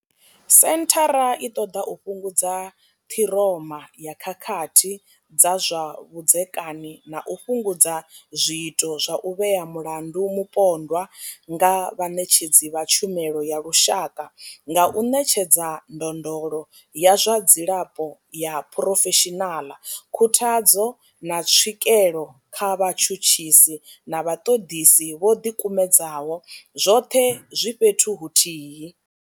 Senthara i ṱoḓa u fhungudza ṱhiroma ya khakhathi dza zwa vhudzekani na u fhungudza zwiito zwa u vhea mulandu mupondwa nga vhaṋetshedzi vha tshumelo ya lushaka nga u ṋetshedza ndondolo ya zwa dzilafho ya phurofeshinaḽa, khuthadzo, na tswikelo kha vhatshutshisi na vhaṱoḓisi vho ḓikumedzaho, zwoṱhe zwi fhethu huthihi.